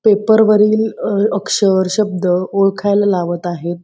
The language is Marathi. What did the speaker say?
पेपर वरील अक्षर शब्द ओळखायला लावत आहेत.